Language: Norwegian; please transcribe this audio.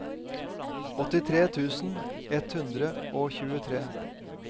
åttitre tusen ett hundre og tjuetre